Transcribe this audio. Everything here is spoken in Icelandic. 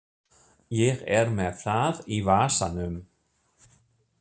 Ég er með það í vasanum.